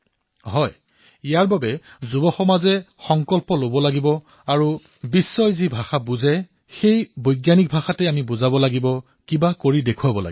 হয় সেইবাবে আমাৰ যুৱসমাজে সংকল্প গ্ৰহণ কৰিব লাগিব আৰু বিশ্বই যি ভাষা বুজি পায় সেই বৈজ্ঞানিক ভাষাতেই আমি বুজি পাব লাগিব কিবা এটা কৰি দেখুৱাব লাগিব